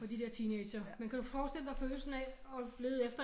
Fra de der teenagere men kan du forestille dig følelsen af at lede efter